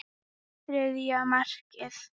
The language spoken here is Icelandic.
Þriðja markið.